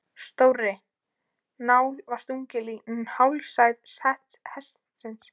Stórri nál var stungið í hálsæð hestsins.